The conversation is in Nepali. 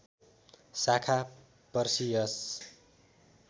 शाखा पर्सियस